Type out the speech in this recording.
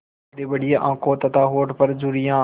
बड़ीबड़ी आँखें तथा होठों पर झुर्रियाँ